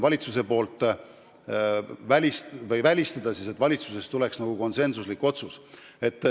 Samas on välistatud, et valitsuses tuleb konsensuslik otsus.